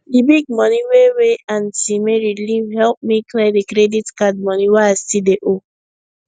the big money wey wey aunt mary leave help me clear the credit card money wey i still dey owe